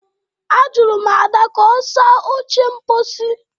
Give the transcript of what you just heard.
Ajụrụ m Ada ka ọ saa oche mposi